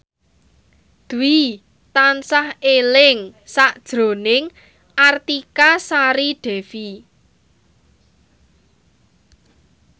Dwi tansah eling sakjroning Artika Sari Devi